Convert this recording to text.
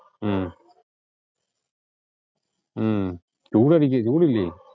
ഉം ഉം ചൂടില്ലിയോ?